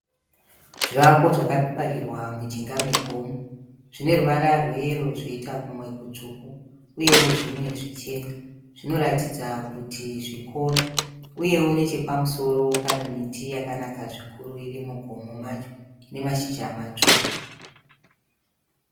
Zvivako zvakavakirwa mujinga megomo. Zvine ruvara rweyero zvoita kumwe kutsvuku uyewo zvimwe zvichena. Zvinoratidza kuti zvikoro uyewo nechepamusoro pane miti yakanaka zvikuru iri mugomo macho ine mashizha matsvuku.